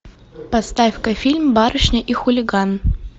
поставь ка фильм барышня и хулиган